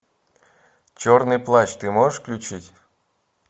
черный плащ ты можешь включить